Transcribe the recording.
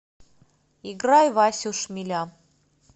играй васю шмеля